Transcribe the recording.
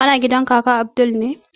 Kana gidan kaka abdul ne?